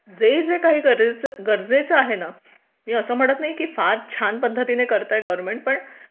जे जे काही गरजेचं आहे ना असं म्हणत नाही की फार छान पद्धतीने करतोय गव्हर्मेंट